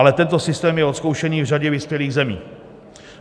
Ale tento systém je odzkoušený v řadě vyspělých zemích.